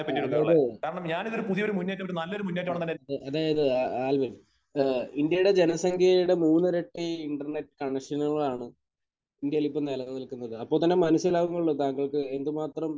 ആഹ്. അതായത്. അ. അതായത്, ആൽവിൻ, ഏഹ് ഇന്ത്യയുടെ ജനസംഖ്യയുടെ മൂന്നിരട്ടി ഇന്റർനെറ്റ് കണക്ഷനുകളാണ് ഇന്ത്യയിൽ ഇപ്പോൾ നിലവിൽ നിൽക്കുന്നത്. അപ്പോൾ തന്നെ മനസ്സിലാവുന്നുണ്ടോ താങ്കൾക്ക് എന്ത് മാത്രം